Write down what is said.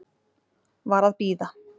Var að bíða